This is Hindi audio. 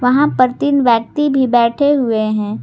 वहां पर तीन व्यक्ति भी बैठे हुए हैं।